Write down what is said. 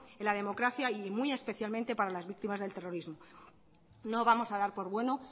en la democracia y muy especialmente para las víctimas del terrorismo no vamos a dar por bueno